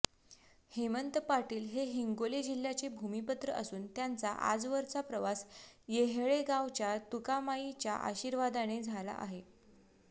हेमंत पाटील हे हिंगोली जिल्ह्याचे भुमिपुत्र असून त्यांचा आजवरचा प्रवास येहळेगावच्या तुकामाईच्या आशीर्वादाने झाला आहे